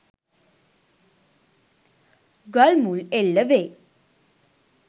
ගල් මුල් එල්ල වේ